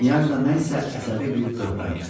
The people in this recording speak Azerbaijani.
Knyajna nə isə əsəbi bir böhran keçirir.